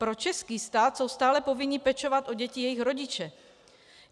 Pro český stát jsou stále povinni pečovat o děti jejich rodiče.